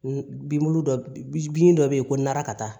Bilu dɔ bin dɔ be yen ko naara ka taa